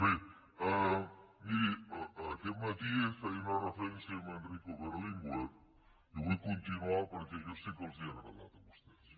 bé miri aquest matí feia una referència a enrico berlinguer i vull continuar perquè jo sé que els ha agradat a vostès